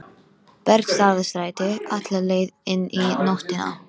Bergstaðastræti, alla leið inn í nóttina.